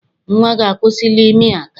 Nnwa gị akwụsịla ịmị aka?